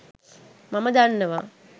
මම දන්නව.